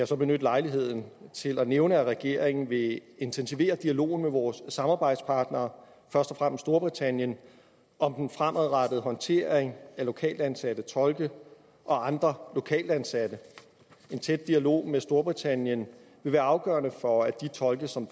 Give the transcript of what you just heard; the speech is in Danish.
så benytte lejligheden til at nævne at regeringen vil intensivere dialogen med vores samarbejdspartnere først og storbritannien om den fremadrettede håndtering af lokalt ansatte tolke og andre lokalt ansatte en tæt dialog med storbritannien vil være afgørende for at de tolke som